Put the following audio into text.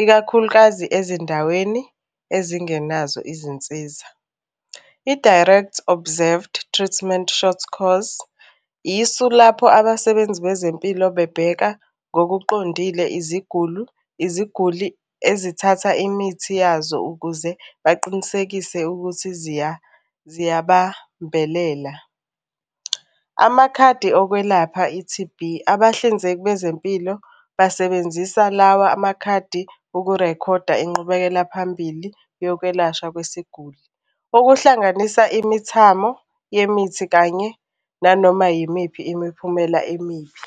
ikakhulukazi ezindaweni ezingenazo izinsiza. I-Direct Observed Treatment short course, isu lapho abasebenzi bezempilo bebheka ngokuqondile izigulu, iziguli ezithatha imithi yazo ukuze baqinisekise ukuthi ziyabambelela. Amakhadi okwelapha i-T_B, abahlinzeki bezempilo basebenzisa lawa amakhadi ukurekhoda inqubekela phambili yokwelashwa kwesiguli. Okuhlanganisa imithamo yemithi kanye nanoma yimiphi imiphumela emibi.